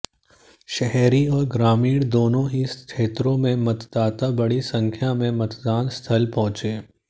शहरी और ग्रामीण दोनों ही क्षेत्रों में मतदाता बडी संख्या में मतदान स्थल पहुंचे